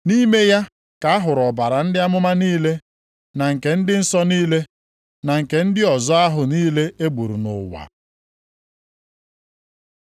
Nʼime ya ka a hụrụ ọbara ndị amụma niile, na nke ndị nsọ niile, na nke ndị ọzọ ahụ niile e gburu nʼụwa.”